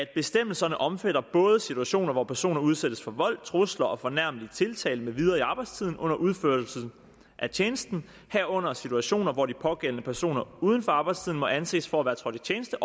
bestemmelserne omfatter både situationer hvor personer udsættes for vold trusler eller fornærmelig tiltale med videre i arbejdstiden under udførelsen af tjenesten herunder situationer hvor de pågældende personer uden for arbejdstiden må anses for at være trådt i tjeneste